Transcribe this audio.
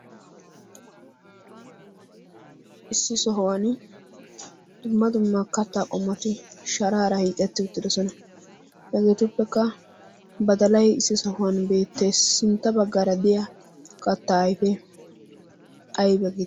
issi sohuwani dumma dumma kataa qomoti sharaara hiixeti uttidosona. etuppekka badalay issi sohuwan beetees. sinta bagaara diya kataa ayfee ayba geetettii?